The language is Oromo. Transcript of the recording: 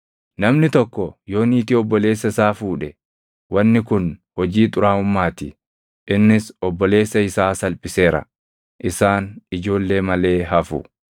“ ‘Namni tokko yoo niitii obboleessa isaa fuudhe, wanni kun hojii xuraaʼummaa ti; innis obboleessa isaa salphiseera. Isaan ijoollee malee hafu.